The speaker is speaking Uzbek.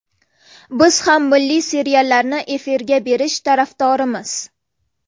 Biz ham milliy seriallarni efirga berish tarafdorimiz.